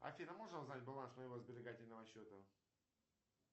афина можно узнать баланс моего сберегательного счета